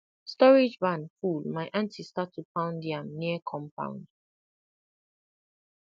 storage barn full my aunty start to pound yam near compound